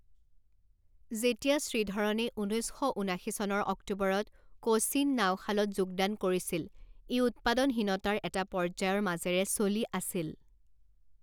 যেতিয়া শ্ৰীধৰণে ঊনৈছ শ ঊনাশী চনৰ অক্টোবৰত কোচিন নাওশালত যোগদান কৰিছিল, ই উৎপাদনহীনতাৰ এটা পৰ্য্যায়ৰ মাজেৰে চলি আছিল।